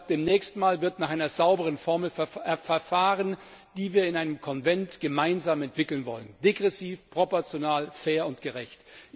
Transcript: Ab dem nächsten Mal wird nach einer sauberen Formel verfahren, die wir in einem Konvent gemeinsam entwickeln wollen degressiv, proportional, fair und gerecht.